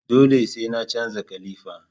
Dole sai na canza kalifa